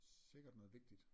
Sikkert noget vigtigt